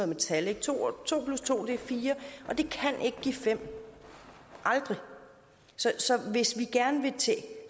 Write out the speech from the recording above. med tal to plus to er fire og det kan ikke give fem aldrig så hvis vi gerne vil